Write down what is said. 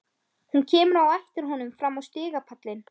Hún kemur á eftir honum fram á stigapallinn.